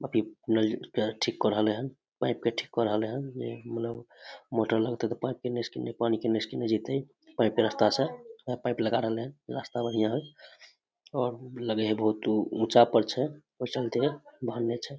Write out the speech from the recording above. अभी नल के ठीक क रहले हैन पाइप के ठीक क रहले हैन मोटर लगते ते पाइप किने से किने पानी किने से किने जेते पाइप के रस्ता से ऊहा पाइप लगा रहले हैन रास्ता बन गया है और लगे है बहुत ऊंचा पर छै